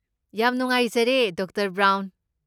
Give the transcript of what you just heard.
ꯌꯥꯝ ꯅꯨꯉꯥꯏꯖꯔꯦ, doctor brown.